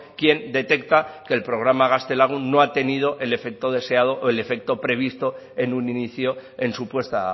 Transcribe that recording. quien detecta que el programa gaztelagun no ha tenido el efecto deseado o el efecto previsto en un inicio en su puesta